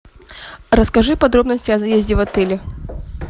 расскажи подробности о заезде в отеле